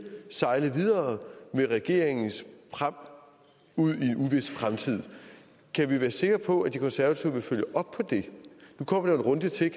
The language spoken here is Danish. sejle videre med regeringens pram ud i en uvis fremtid kan vi være sikre på at de konservative vil følge op på det nu kommer der en runde til